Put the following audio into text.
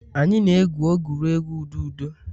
Anyị na-egwu egwuregwu ududo.